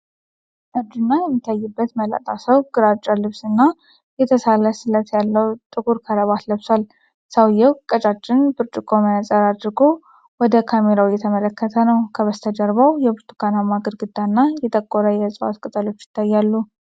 እርጅና የሚታይበት መላጣ ሰው ግራጫ ልብስ እና የተሳለ ጥለት ያለው ጥቁር ክራባት ለብሷል። ሰውዬው ቀጫጭን ብርጭቆ መነፅር አድርጎ ወደ ካሜራው እየተመለከተ ነው። ከበስተጀርባው የብርቱካናማ ግድግዳ እና የጠቆረ የእጽዋት ቅጠሎች ይታያሉ።